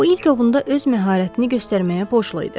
O ilk ovunda öz məharətini göstərməyə borçlu idi.